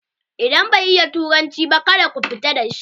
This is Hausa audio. Idan bai iya turanci ba ka da ku fita da shi!